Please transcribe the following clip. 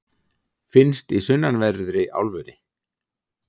finnst í sunnanverðri álfunni